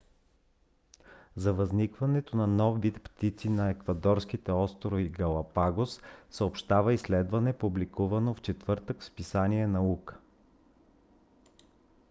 за възникването на нов вид птици на еквадорските острови галапагос съобщава изследване публикувано в четвъртък в списание наука